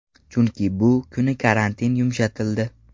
Chunki bu kuni karantin yumshatildi.